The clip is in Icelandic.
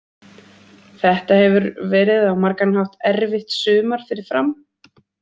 Þetta hefur verið á margan hátt erfitt sumar fyrir Fram.